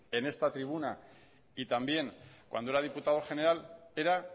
en esta tribuna y también cuando era diputado general era